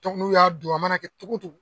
Dɔnku n'u y'a don a mana kɛ togo togo